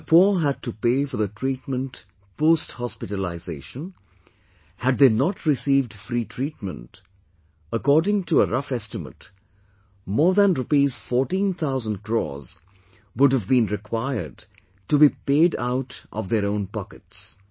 If the poor had to pay for the treatment post hospitalization, had they not received free treatment, according to a rough estimate, more than rupees 14 thousand crores would have been required to be paid out of their own pockets